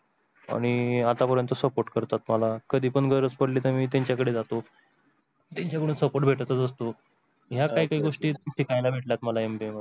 आणि आतापर्यंत support करतात मला कधी पण गरज पडली की मी त्यांच्या कडे जातो त्यांच्या कडून support भेटत असतो. ह्या काही काही गोष्टी शिकायला भेटल्या मला MBA मध्ये.